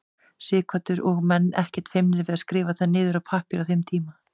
Sighvatur: Og menn ekkert feimnir við að skrifa það niður á pappír á þeim tíma?